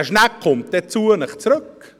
Diese Schnecke kommt dann zu Ihnen zurück.